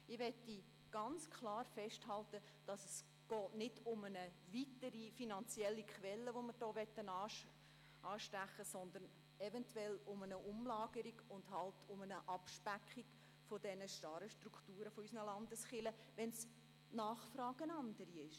Ich möchte ganz klar festhalten, dass es nicht darum geht, eine weitere finanzielle Quelle anzuzapfen, sondern eventuell um eine Umlagerung und um eine Abspeckung der starren Strukturen unserer Landeskirchen, weil die Nachfrage eine andere ist.